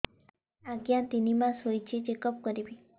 ଆଜ୍ଞା ତିନି ମାସ ହେଇଛି ଚେକ ଅପ କରିବି